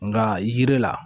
Nka yiri la